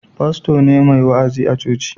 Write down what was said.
Fasto ne mai wa'azi a coci